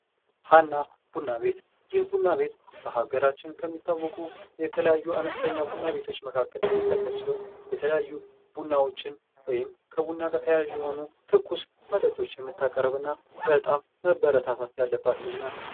ሀና ቡና ቤት፦ ይህ ቡና ቤት በሀገራችን ከሚታወቁ የተለያዩ አነስተኛ ቡና ቤቶች መካከል የሚጠቀስ ሲሆን የተለያዩ ቡናዎችን ወይም ከቡና ጋር ተያያዥ የሆኑ ትኩስ መጠጦችን የምታቀርብ እና በጣም መበረታታት ያለባት ልጅ ናት ።